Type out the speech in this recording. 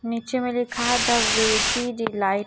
नीचेमें लिखा है the veggie delight.